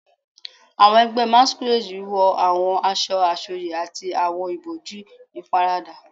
Awọn ẹgbẹ Masquerade wọ awọn aṣọ asọye ati awọn iboju iparada